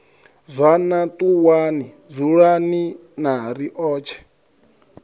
zwana ṱuwani dzulani na riotshe